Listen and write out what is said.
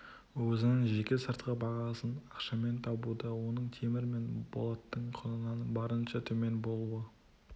өзінің жеке сыртқы бағасын ақшамен табуда оның темір мен болаттың құнынан барынша төмен болуы